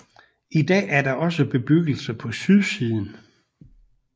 I dag er der også bebyggelse på sydsiden